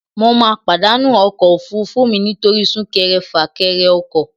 Mo ma pàdánù ọkọ̀ òfurufú mi nítorí súnkere-fàkere ọkọ